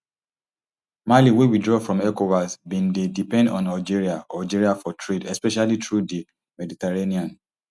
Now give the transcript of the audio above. mali wey withdraw from ecowas bin dey depend on algeria algeria for trade especially through di mediterranean